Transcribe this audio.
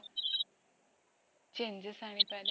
changes ଆଣି ପରେ